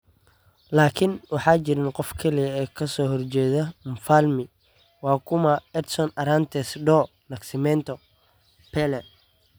Laakin waxaa jirin qof kaliya oo ka soo horjeeda Mfalmi waa kuma: Edson Arantes do Nascimento, Pele.